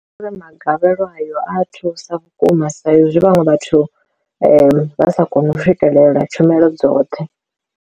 Ndi uri magavhelo ayo a thusa vhukuma sa izwi vhaṅwe vhathu vha vha sa koni u swikelela tshumelo dzoṱhe.